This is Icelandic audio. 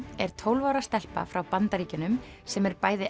er tólf ára stelpa frá Bandaríkjunum sem er bæði